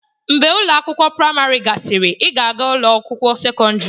Mgbe ụlọ akwụkwọ praịmarị gasịrị, ị ga-aga ụlọ akwụkwọ sekọndrị.